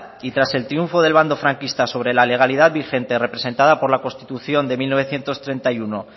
y tras el triunfo del bando franquista sobre la legalidad vigente representada por la constitución de mil novecientos treinta y uno